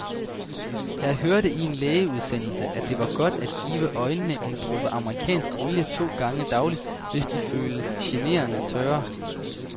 Jeg hørte i en lægeudsendelse, at det er godt at give øjnene en dråbe amerikansk olie to gange daglig, hvis de føles generende tørre.